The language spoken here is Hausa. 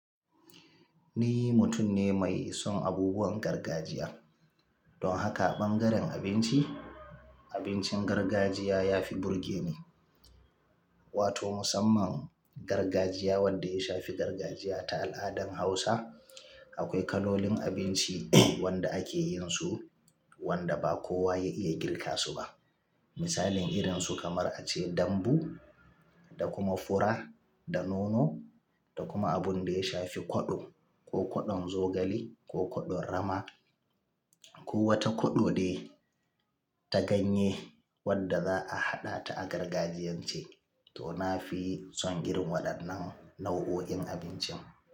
Ni mutum ne mai son abubuwan gargajiya. Don haka ɓangaren abinci, abincin gargajiya ya fi burge ni. Wato musamman gargajiya wadda ya shafi gargajiya ta al'adan Hausa. Akwai kalolin abinci wanda ake yin su wanda ba kowa ya iya girka su ba. Misalin irin su kamar ace dambu da kuma fura da nono da kuma abun da ya shafi koɗo, ko koɗon zogale, ko koɗon rama, ko wata koɗo de ta ganye wadda za'a haɗa ta a gargajiyance to na fi son irin waɗannan nau'o'in abincin.